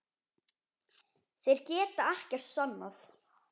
Þeir geta ekkert sannað.